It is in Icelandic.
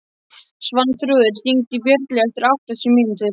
Svanþrúður, hringdu í Björnlaugu eftir áttatíu mínútur.